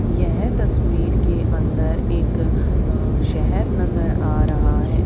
यह तस्वीर के अंदर एक अह शहर नजर आ रहा है।